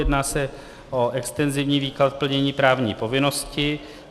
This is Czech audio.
Jedná se o extenzivní výklad plnění právní povinnosti.